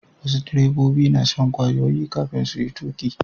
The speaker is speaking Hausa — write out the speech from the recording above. Wasu direbobi na shan ƙwayoyi kafin su yi tafiya.